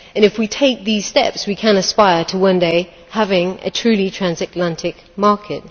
If we take these steps, we can aspire to one day having a truly transatlantic market.